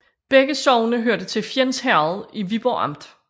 Begge sogne hørte til Fjends Herred i Viborg Amt